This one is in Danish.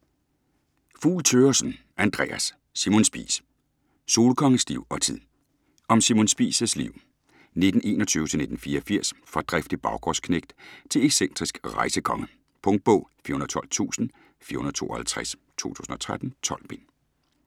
Fugl Thøgersen, Andreas: Simon Spies: solkongens liv og tid Om Simon Spies' liv (1921-1984) fra driftig baggårdsknægt til excentrisk rejsekonge. Punktbog 412452 2013. 12 bind.